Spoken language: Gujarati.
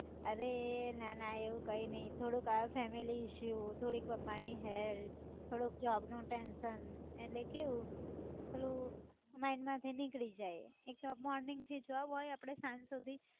અરે એ ના ના એવું કઈ નઈ થોડુંક our family issue થોડીક પપ્પાની health થોડુંક job નું tension એટલે કેવું પેલું mind માંથી નીકળી જાય એકતો morning થી job હોય આપડે સાંજ સુધી